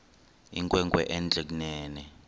inkwenkwe entle kunene